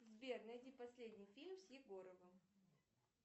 сбер найди последний фильм с егоровым